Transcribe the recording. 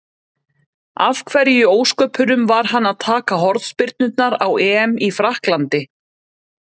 Af hverju í ósköpunum var hann að taka hornspyrnurnar á EM í Frakklandi?